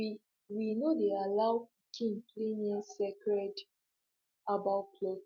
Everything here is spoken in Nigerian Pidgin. we we no dey allow pikin play near sacred herbal plots